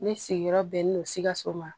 Ne sigiyɔrɔ bɛnnen don sikaso ma